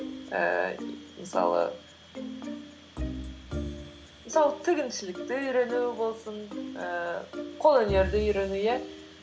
ііі мысалы тігіншілікті үйрену болсын ііі қолөнерді үйрену иә